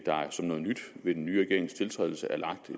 som noget nyt ved den nye regerings tiltrædelse er lagt